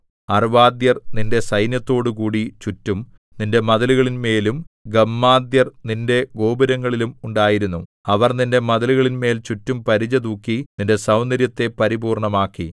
അർവ്വാദ്യർ നിന്റെ സൈന്യത്തോടുകൂടി ചുറ്റും നിന്റെ മതിലുകളിന്മേലും ഗമ്മാദ്യർ നിന്റെ ഗോപുരങ്ങളിലും ഉണ്ടായിരുന്നു അവർ നിന്റെ മതിലുകളിന്മേൽ ചുറ്റും പരിച തൂക്കി നിന്റെ സൗന്ദര്യത്തെ പരിപൂർണ്ണമാക്കി